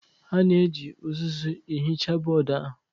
A na-eji uzuzu ihicha bọọdụ ahụ.